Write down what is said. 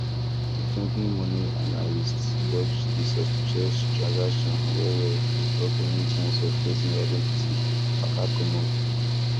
di company money analyst watch di suspicious transaction well well to stop any chance of person identity waka comot